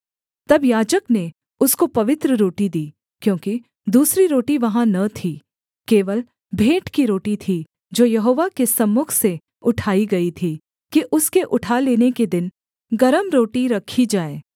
तब याजक ने उसको पवित्र रोटी दी क्योंकि दूसरी रोटी वहाँ न थी केवल भेंट की रोटी थी जो यहोवा के सम्मुख से उठाई गई थी कि उसके उठा लेने के दिन गरम रोटी रखी जाए